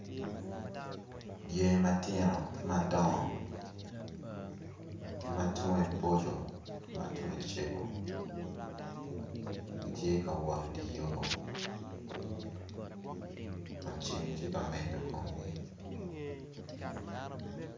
Dyangi matino ki madongo ki ma tunge boco ki tunge cego gitye ka wot idye yo Kun ceng tye ka menyo kumgi